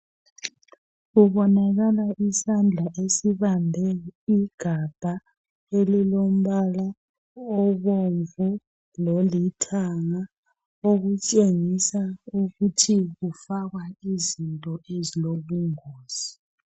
Kubonakala isandla esibambe igabha elilombala obomvu lolithanga okutshengisa ukuthi kufakwa izinto ezilobungozi.